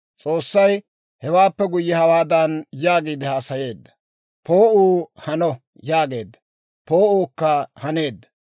S'oossay hewaappe guyye hawaadan yaagiide haasayeedda; «Poo'uu Hano» yaageedda; poo'uukka haneedda.